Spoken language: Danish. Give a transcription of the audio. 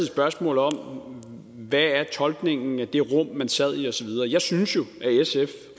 spørgsmål om hvad tolkningen er i det rum man sad i og så videre jeg synes jo